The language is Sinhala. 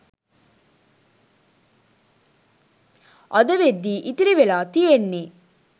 අද වෙද්දී ඉතිරිවෙලා තියෙන්නේ.